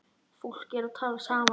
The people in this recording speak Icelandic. Fólk er að tala saman.